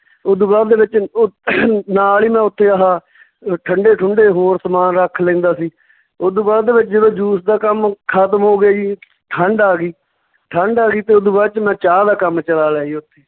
ਓਦੂ ਬਾਅਦ ਦੇ ਵਿੱਚ ਉਹ ਨਾਲ ਹੀ ਉੱਥੇ ਮੈਂ ਆਹ ਅਹ ਠੰਢੇ ਠੁੰਢੇ ਹੋਰ ਸਮਾਨ ਰੱਖ ਲੈਂਦਾ ਸੀ, ਓਦੂ ਬਾਅਦ ਦੇ ਵਿੱਚ ਜਦੋਂ juice ਦਾ ਕੰਮ ਖਤਮ ਹੋ ਗਿਆ ਜੀ ਠੰਡ ਆ ਗਈ, ਠੰਡ ਆ ਗਈ ਤੇ ਓਦੂ ਬਾਅਦ ਚ ਮੈਂ ਚਾਹ ਦਾ ਕੰਮ ਚਲਾ ਲਿਆ ਜੀ ਓਥੇ